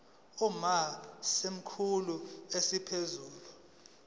uma isikhulu esiphezulu